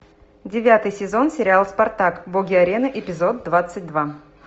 девятый сезон сериал спартак боги арены эпизод двадцать два